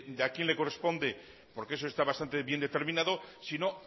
de a quién le corresponde porque eso está bastante bien determinado sino